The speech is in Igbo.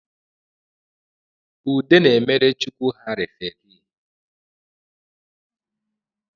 Ude na-emere chukwu ha referi